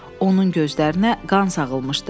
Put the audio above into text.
Onun gözlərinə qan sağılmışdı.